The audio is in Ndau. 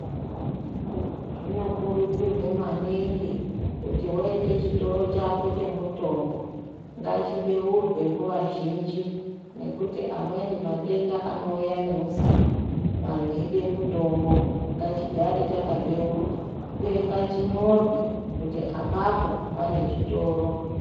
Zvinokurudzirwe maningi kuti waite chitoro chako chemutombo ngachibeurwe nguwa dzeshe -zhinji ngekuti amweni matenda anouya neusiku anhu eide mutombo ngachigare chakabeurwa uye ngachinyorwe kuti apapo panechitoro.